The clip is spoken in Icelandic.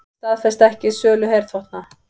Staðfesta ekki sölu herþotna